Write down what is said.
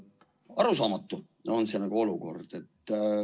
Arusaamatu on see olukord.